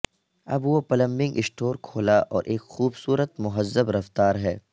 اب وہ plumbing store کھولا اور ایک خوبصورت مہذب رفتار ہے